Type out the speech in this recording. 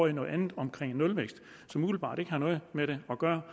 af noget andet nemlig nulvækst som umiddelbart ikke har noget med det at gøre